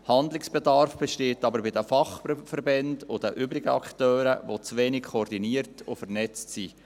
Handlungsbedarf besteht aber bei den Fachverbänden und den übrigen Akteuren, die zu wenig koordiniert und vernetzt sind.